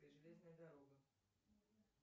железная дорога